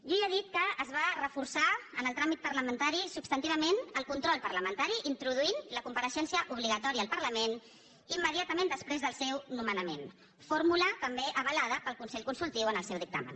jo ja he dit que es va reforçar en el tràmit parlamentari substantivament el control parlamentari introduint la compareixença obligatòria al parlament immediatament després del seu nomenament fórmula també avalada pel consell consultiu en el seu dictamen